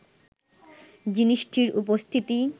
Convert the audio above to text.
জিনিসটির উপস্থিতি